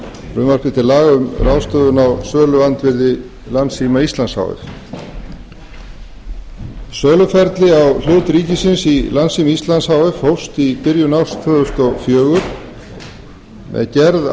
frumvarpi til laga um ráðstöfun á söluandvirði landssíma íslands h f söluferli á hlut ríkisins í landssíma íslands h f hófst í byrjun árs tvö þúsund og fjögur með gerð